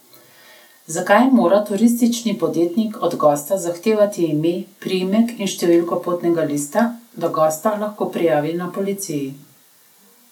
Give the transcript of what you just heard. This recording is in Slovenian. Zakaj mora turistični podjetnik od gosta zahtevati ime, priimek in številko potnega lista, da gosta lahko prijavi na policiji?